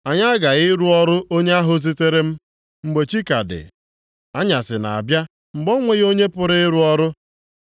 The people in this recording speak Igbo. Anyị aghaghị ịrụ ọrụ onye ahụ zitere m, mgbe chi ka dị, anyasị na-abịa mgbe o nweghị onye pụrụ ịrụ ọrụ.